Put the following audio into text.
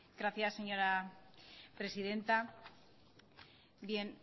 gracias señora presidenta